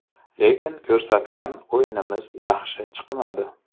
Lekin ko‘rsatgan o‘yinimiz yaxshi chiqmadi.